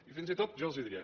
i fins i tot jo els diria